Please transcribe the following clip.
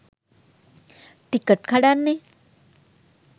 Ticket කඩන්නෙ?